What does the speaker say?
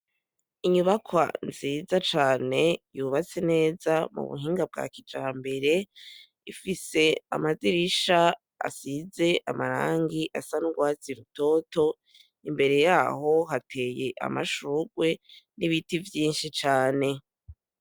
Inyubakwa nziza cane yubatse neza ubuhinga bwa kijambere Ifise amadirisha asize amarangi asa nurwatsi rutoto , mbere yaho hateye amashurwe nibiti vyinshi cane.